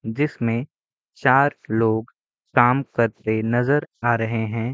जिसमें चार लोग काम करते नजर आ रहे हैं।